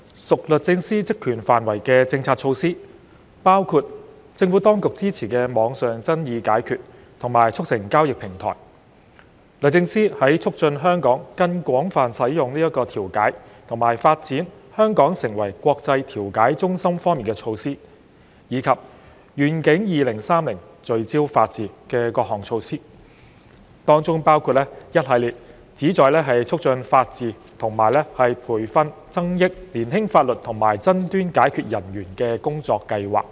屬律政司職權範圍的政策措施，包括政府當局支持的網上爭議解決和促成交易平台；律政司在促進香港更廣泛使用調解和發展香港成為國際調解中心方面的措施；以及"願景 2030— 聚焦法治"的各項措施，當中包括一系列旨在促進法治及培訓增益年輕法律和爭端解決人員的工作和計劃。